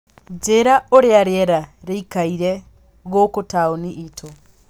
njĩira ũrĩa rĩera rĩkaire gũku taũni ĩtu